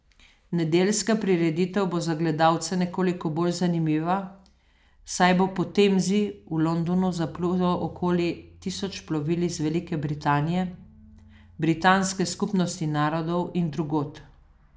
Nedeljska prireditev bo za gledalce nekoliko bolj zanimiva, saj bo po Temzi v Londonu zaplulo okoli tisoč plovil iz Velike Britanije, Britanske skupnosti narodov in drugod.